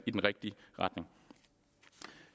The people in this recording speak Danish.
i den rigtige retning